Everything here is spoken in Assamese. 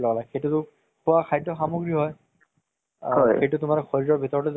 তʼ ধীৰে ধীৰে develop হয় গৈ আছে আমাৰ দেশ খনো, লগতে movies develop হৈ গৈ আছে।